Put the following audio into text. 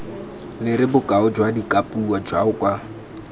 lere bokao jwa dikapuo jaoka